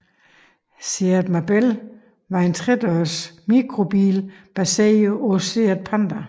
SEAT Marbella var en tredørs mikrobil baseret på SEAT Panda